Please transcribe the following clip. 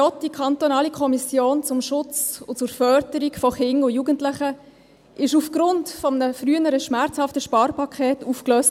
Die Kantonale Kommission zum Schutz und zur Förderung von Kindern und Jugendlichen (KKJ) wurde, wie Sie wissen, aufgrund eines früheren, schmerzhaften Sparpakets aufgelöst.